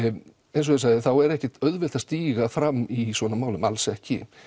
eins og ég sagði er ekki auðvelt að stíga fram í svona málum alls ekki